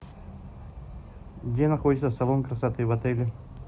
где находится салон красоты в отеле